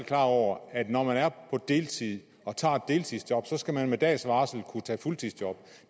klar over at når man er på deltid og tager et deltidsjob skal man med dags varsel kunne tage fuldtidsjob